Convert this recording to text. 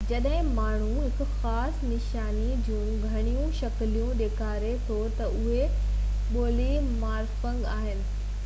جڏهن ماڻهو هڪ خاص نشاني جون گهڻيون شڪلون ڏيکاري ٿو ته اهي پولي مارفڪ آهن